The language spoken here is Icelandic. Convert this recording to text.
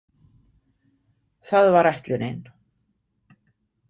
Það var ætlunin.